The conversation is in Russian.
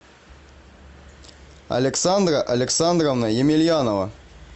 александра александровна емельянова